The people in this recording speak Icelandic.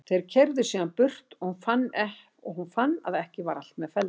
Þeir keyrðu síðan burt og hún fann að ekki var allt með felldu.